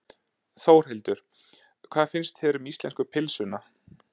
Þórhildur: Hvað finnst þér um íslensku pylsuna?